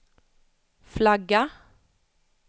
flagga